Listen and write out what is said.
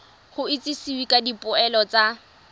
go itsisiwe ka dipoelo tsa